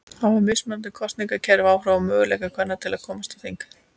Hafa mismunandi kosningakerfi áhrif á möguleika kvenna til að komast á þing?